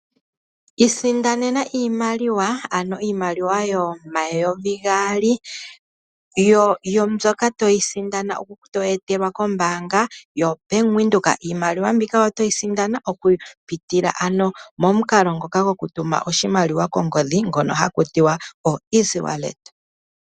Isindanena iimaliwa, ano iimaliwa yomayovi gaali mbyoka toyi sindana toyi etelwa kombaanga bank Windhoek. Iimaliwa mbika oto yi sindana okupitila ano momukalo ngoka gokutuma oshimaliwa kongodhi ngono haku tiwa o "easy wallet".